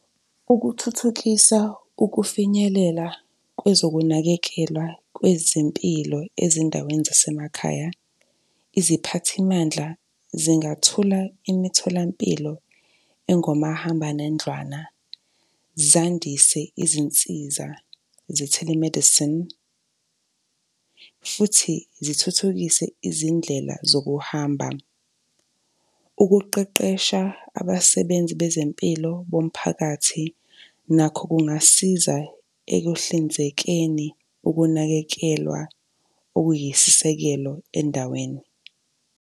Ukuthuthukisa ukufinyelela kwezokunakekela kwezempilo ezindaweni zasemakhaya, iziphathimandla zingathula imitholampilo engomahambanendlwana zandise izinsiza ze-telemedicine futhi zithuthukise izindlela zokuhamba. Ukuqeqesha abasebenzi bezempilo bomphakathi nakho kungasiza ekuhlinzekeni ukunakekelwa okuyisisekelo endaweni.